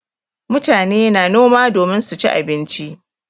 Mutane na noma domin su ci abinci.